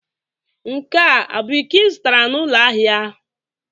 Nke a bụ iko ị zụtara n'ụlọ ahịa ahịa?